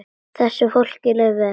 Þessu fólki leið vel.